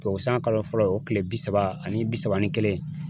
O san kalo fɔlɔ o tile bi saba ani bi saba ni kelen